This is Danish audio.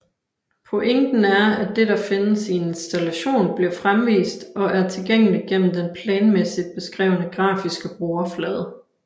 Pointen er at det der findes i en installation bliver fremvist og er tilgængelig gennem den planmæssigt beskrevne grafiske brugerflade